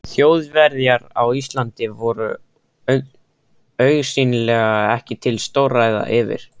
Þjóðverjar á Íslandi voru augsýnilega ekki til stórræða fyrir